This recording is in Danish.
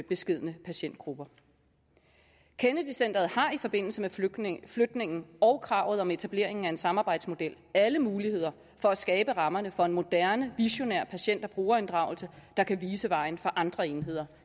beskedne patientgrupper kennedy centret har i forbindelse med flytningen flytningen og kravet om etableringen af en samarbejdsmodel alle muligheder for at skabe rammerne for en moderne visionær patient og brugerinddragelse der kan vise vejen for andre enheder